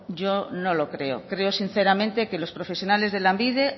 yo no lo creo creo sinceramente que los profesionales de lanbide